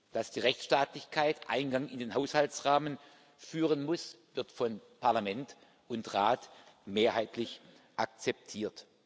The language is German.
Dass die Rechtsstaatlichkeit Eingang in den Haushaltsrahmen finden muss, wird von Parlament und Rat mehrheitlich akzeptiert.